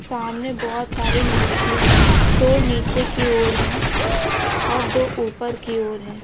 सामने बहुत सारी मूर्तियां हैं दो नीचे की ओर है। और दो ऊपर की ओर है।